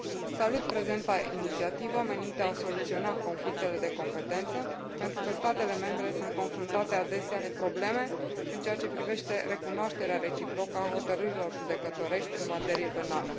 Salut prezenta inițiativă, menită a soluționa conflictele de competență, pentru că statele membre sunt confruntate adesea cu probleme în ceea ce privește recunoașterea reciprocă a hotărârilor judecătorești în materie penală.